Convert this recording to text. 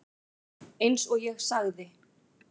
Eins og ég sagði.